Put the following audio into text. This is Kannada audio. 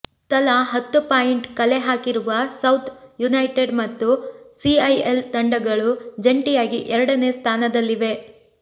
ತಲಾ ಹತ್ತು ಪಾಯಿಂಟ್ ಕಲೆ ಹಾಕಿರುವ ಸೌತ್ ಯುನೈಟೆಡ್ ಮತ್ತು ಸಿಐಎಲ್ ತಂಡಗಳು ಜಂಟಿಯಾಗಿ ಎರಡನೇ ಸ್ಥಾನದಲ್ಲಿವೆ